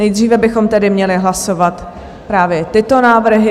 Nejdříve bychom tedy měli hlasovat právě tyto návrhy.